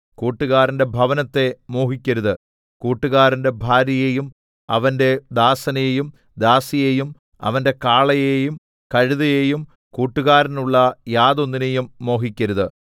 കൂട്ടുകാരന്റെ ഭവനത്തെ മോഹിക്കരുത് കൂട്ടുകാരന്റെ ഭാര്യയെയും അവന്റെ ദാസനെയും ദാസിയെയും അവന്റെ കാളയെയും കഴുതയെയും കൂട്ടുകാരനുള്ള യാതൊന്നിനെയും മോഹിക്കരുത്